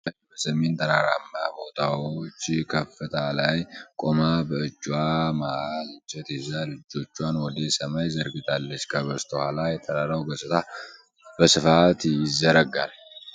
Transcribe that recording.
አንዲት ተጓዥ በሰሜን ተራራማ ቦታዎች ከፍታ ላይ ቆማ፣ ብእጅዋን መሃል እንጨት ይዛ እጆቿን ወደ ሰማይ ዘርግታለች። ከበስተኋላ የተራራው ገጽታ በስፋት ይዘረጋል።